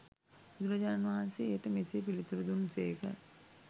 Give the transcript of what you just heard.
බුදුරජාණන් වහන්සේ එයට මෙසේ පිළිතුරු දුන් සේක.